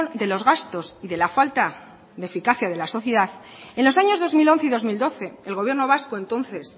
de los gastos y de la falta de eficacia de la sociedad en los años dos mil once y dos mil doce el gobierno vasco entonces